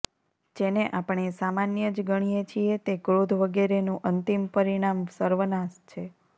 જેને આપણે સામાન્ય જ ગણીએ છીએ તે ક્રોધ વગેરેનું અંતિમ પરિણામ સર્વનાશ છે